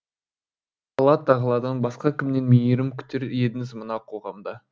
алла тағаладан басқа кімнен мейірім күтер едіңіз мына қоғамда